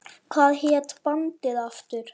Hvað hét bandið aftur?